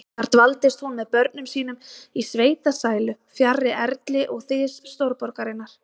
Þar dvaldist hún með börnum sínum í sveitasælu, fjarri erli og þys stórborgarinnar.